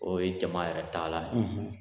O ye jama yɛrɛ taalan ye